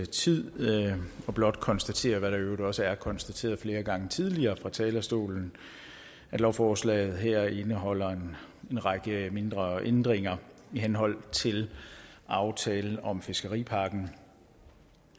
tid men blot konstatere hvad der i øvrigt også er konstateret flere gange tidligere fra talerstolen at lovforslaget her indeholder en række mindre ændringer i henhold til aftalen om fiskeripakken